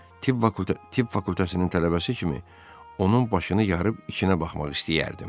Tib fakültəsinin tələbəsi kimi onun başını yarıb içinə baxmaq istəyərdim.